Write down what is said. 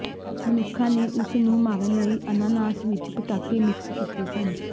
ਮਨੁੱਖਾਂ ਨੇ ਉਸ ਨੂੰ ਮਾਰਨ ਲਈ ਅਨਾਨਾਸ ਵਿਚ ਪਟਾਕੇ ਮਿਕਸ ਕੀਤੇ ਸਨ